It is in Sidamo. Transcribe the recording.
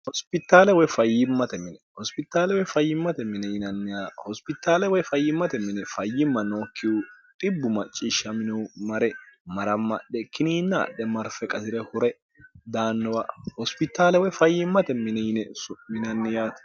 hositaale woy fayyimmate mine hospitaalewoy fayyimmate mine yinanni hospitaale woy fayyimmate mine fayyimma nookkihu dibbu macciishsha mino mare marammadhe kiniinna adhe marfe qasi're hure daannowa hospitaale woy fayyimmate mine yine suminanniyaate